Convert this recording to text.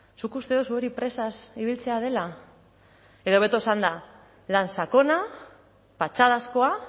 zuk uste duzu hori presaz ibiltzea dela edo hobeto esanda lan sakona patxadazkoa